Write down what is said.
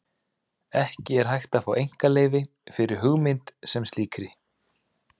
Ekki er hægt að fá einkaleyfi fyrir hugmynd sem slíkri.